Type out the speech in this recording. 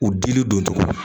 U dili don cogo